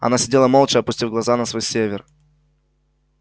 она сидела молча опустив глаза на свой север